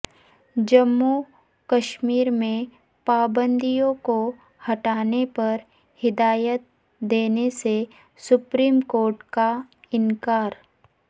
جموں کشمیر میں پابندیوں کو ہٹانے پر ہدایت دینے سے سپریم کورٹ کا انکار